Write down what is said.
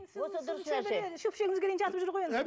шөпшегімізге дейін жатып жүр ғой енді